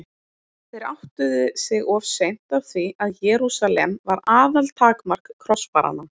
Þeir áttuðu sig of seint á því að Jerúsalem var aðaltakmark krossfaranna.